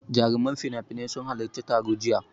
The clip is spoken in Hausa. Jaruman finafinai sun halaccin taron jiya.